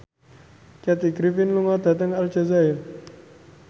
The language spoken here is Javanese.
Kathy Griffin lunga dhateng Aljazair